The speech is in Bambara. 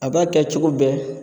A b'a kɛ cogo bɛɛ